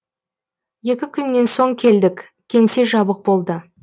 екі күннен соң келдік кеңсе жабық болды